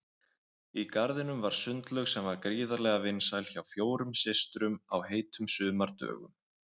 Í garðinum var sundlaug sem var gríðarlega vinsæl hjá fjórum systrum á heitum sumardögum.